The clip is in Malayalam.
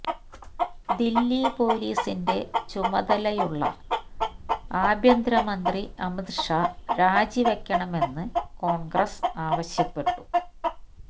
ദില്ലി പോലീസിന്റെ ചുമതലയുള്ള ആഭ്യന്തര മന്ത്രി അമിത് ഷാ രാജിവയ്ക്കണമെന്ന് കോണ്ഗ്രസ് ആവശ്യപ്പെട്ടു